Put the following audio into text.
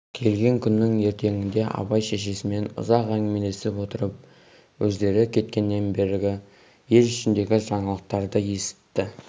келген күннің ертеңінде абай шешесімен ұзақ әңгімелесіп отырып өздері кеткеннен бергі ел ішіндегі жаңалықтарды есітті